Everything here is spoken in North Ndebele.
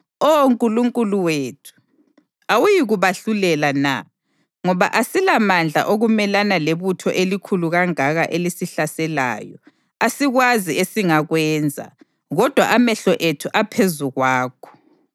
Oh Nkulunkulu wethu, awuyikubahlulela na? Ngoba asilamandla okumelana lebutho elikhulu kangaka elisihlaselayo. Asikwazi esingakwenza, kodwa amehlo ethu aphezu kwakho.”